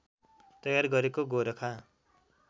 तयार गरेको गोरखा